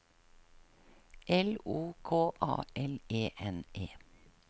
L O K A L E N E